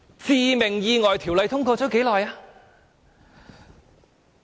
《致命意外條例》通過了多久？